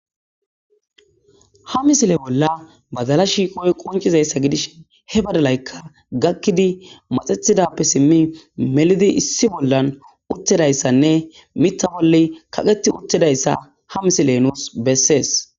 ha misile bolla badala shiiqoy qoncizayssa gidish he badalaykka gakkidi maxethidappe simmi melidi issi bollan uttidayssanne mittabolle kaqeti uttedayssa ha misile nuus bessees